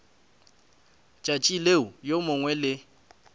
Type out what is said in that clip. tšatši leo yo mongwe le